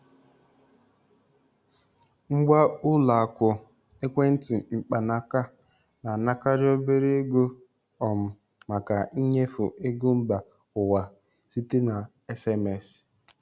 Ngwa ụlọ akụ ekwentị mkpanaaka na-anakarị obere ego um maka nnyefe ego mba ụwa site na SMS.